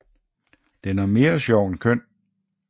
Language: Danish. Den er mere sjov end køn